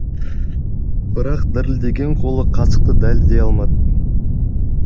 бірақ дірілдеген қолы қасықты дәлдей алмады